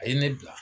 A ye ne bila